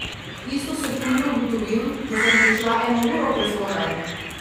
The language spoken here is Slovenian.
Isto sekundo ugotovim, da sem prišla eno uro prezgodaj!